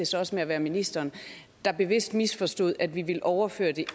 så også med at være ministeren bevidst misforstod om vi ville overføre det